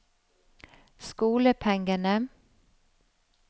skolepengene